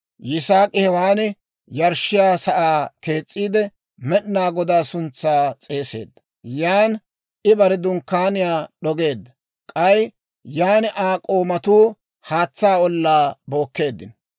Yisaak'i hewaan yarshshiyaa sa'aa kees's'iide, Med'inaa Godaa suntsaa s'eeseedda. Yan I bare dunkkaaniyaa d'ogeedda; k'ay yan Aa k'oomatuu haatsaa ollaa bookkeeddino.